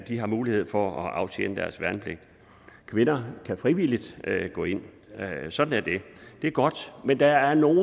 de har mulighed for at aftjene deres værnepligt kvinder kan frivilligt gå ind sådan er det det er godt men der er nogle